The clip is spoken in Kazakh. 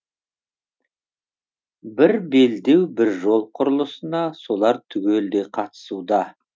бір белдеу бір жол құрылысына солар түгелдей қатысуда